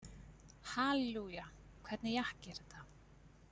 Hallelúja, hvernig jakki er þetta?